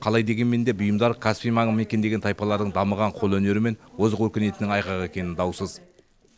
қалай дегенмен де бұйымдар каспий маңын мекендеген тайпалардың дамыған қолөнері мен озық өркениетінің айғағы екені даусыз